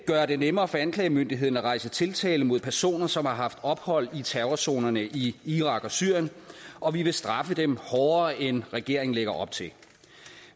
gøre det nemmere for anklagemyndigheden at rejse tiltale mod personer som har haft ophold i terrorzonerne i irak og syrien og vi vil straffe dem hårdere end regeringen lægger op til